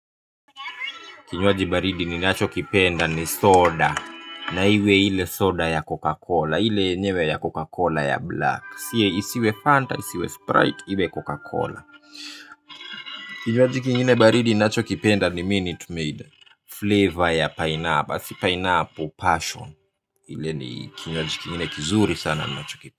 Kinywaji baridi ninacho kipenda ni soda na iwe ile soda ya Coca-Cola. Ile yenyewe ya Coca-Cola ya Black. Si ya isiwe Fanta, isiwe Sprite, iwe Coca-Cola. Kinywaji kingine baridi ninacho kipenda ni Minute Maid flavor ya pineapple, si pineapple, passion. Ile ni kinywaji kingine kizuri sana ni nacho kipenda.